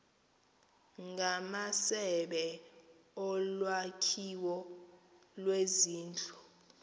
ngamasebe olwakhiwo lwezindlu